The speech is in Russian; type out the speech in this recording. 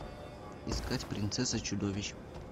искать принцесса чудовищ